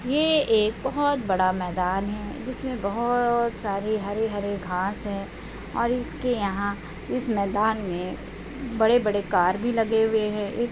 ये एक बहुत बड़ा मैदान है। जिसमे बहुत सारी हरे हरे घास है और इसके यहाँ इस मैदान मे बड़े बड़े कार भी लगे हुए है। एक --